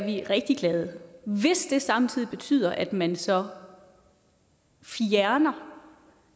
vi rigtig glade hvis det samtidig betyder at man så fjerner